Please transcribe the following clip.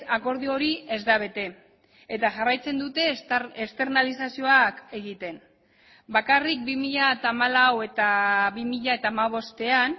akordio hori ez da bete eta jarraitzen dute esternalizazioak egiten bakarrik bi mila hamalau eta bi mila hamabostean